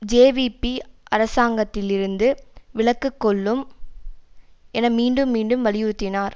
JVP அரசாங்கத்திலிருந்து விலக்குகொள்ளும் என மீண்டும் மீண்டும் வலியுறுத்தினார்